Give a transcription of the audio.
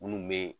Minnu bɛ